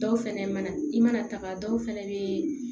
Dɔw fɛnɛ mana i mana taga dɔw fɛnɛ bɛ